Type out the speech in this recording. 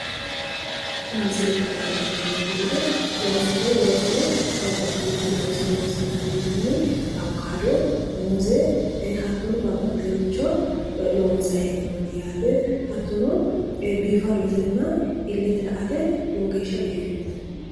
kunni misiileete anna lan'emmo geede loosoho loosuno babbaxeworicho looso loosa dandiinanni awukaado muuze hattono babbaxeworicho loosayi heenonni yaate hatono bifadote iilete la"te lowo geeshsha biffinoote.